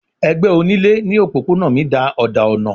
Ẹgbẹ onílé ní òpópónà mi da òdà ọ̀nà.